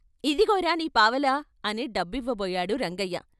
ఇదిగోరా నీ పావలా అని డబ్బివ్వబోయాడు రంగయ్య.